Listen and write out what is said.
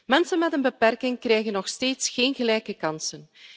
Mensen met een beperking krijgen nog steeds geen gelijke kansen.